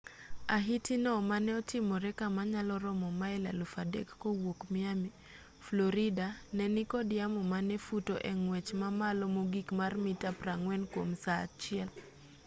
ahiti no mane otimore kama nyalo romo mail 3,000 kowuok miami florida ne nikod yamo mane futo e ng'wech mamalo mogik mar mita 40 kwom saa achiel